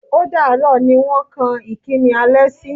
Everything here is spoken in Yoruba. Ó dààrọ́ ni wọ́n kan ìkíní alẹ́ sí.